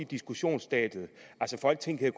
diskussionsstadiet folketinget